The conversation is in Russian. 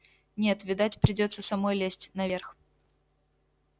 нет видать придётся самой лезть наверх